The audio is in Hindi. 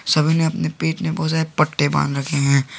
सभी ने अपने पेट में बहुत सारे पट्टे बांध रखे हैं।